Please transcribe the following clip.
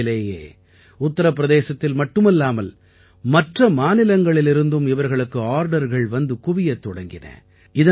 விரைவிலேயே உத்திரப் பிரதேசத்தில் மட்டுமல்லாமல் மற்ற மாநிலங்களிலிருந்தும் இவர்களுக்கு ஆர்டர்கள் வந்து குவியத் தொடங்கியது